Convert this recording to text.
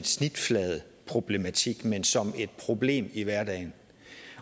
snitfladeproblematik men som et problem i hverdagen